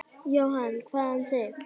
Jóhann: Hvað um þig?